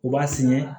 U b'a sɛnɛ